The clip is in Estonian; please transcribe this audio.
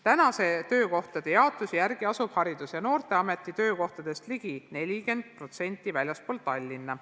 Praeguse töökohtade jaotuse järgi asub Haridus- ja Noorteameti töökohtadest ligi 40% väljaspool Tallinna.